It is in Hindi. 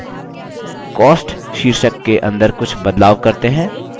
cost शीर्षक के अंदर कुछ बदलाव करते हैं